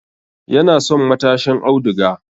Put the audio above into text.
Yana son matashin auduga